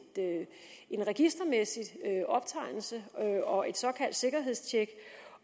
registermæssig optegnelse og et såkaldt sikkerhedstjek